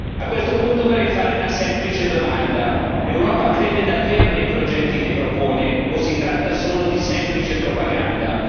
A questo punto vorrei fare una semplice domanda l'Europa crede davvero nei progetti che propone o si tratta solo di semplice propaganda?